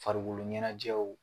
Farikolo ɲɛnajɛw